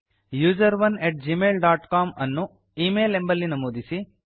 ಯುಸೆರೋನ್ at Gmail dot C O M ಅನ್ನು email ಎಂಬಲ್ಲಿ ನಮೂದಿಸಿ